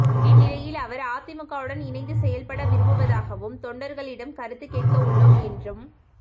இந்நிலையில் அவர் அதிமுகவுடன் இணைந்து செயல்பட விரும்புவதாகவும் தொண்டர்களிடம் கருத்து கேட்க உள்ளோம் என்றும்